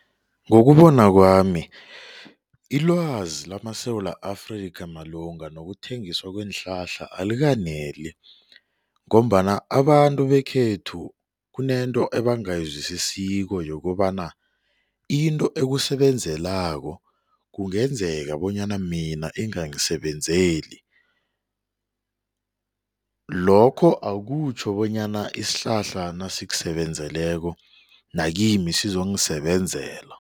Ngokubona kwami ilwazi lamaSewula Afrika malunga nokuthengiswa kweenhlahla alikaneli ngombana abantu bekhethu kunento ebangayizwisisiko yokobana into ekusebenzelako kungenzeka bonyana mina ingangisebenzeli lokho akutjho bonyana isihlahla nasikusebenzeleko nakimi sizongisebenzela.